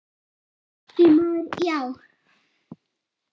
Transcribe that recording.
Því miður, já.